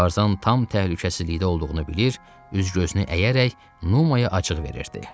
Tarzan tam təhlükəsizlikdə olduğunu bilir, üz-gözünü əyərək Numaya acıq verirdi.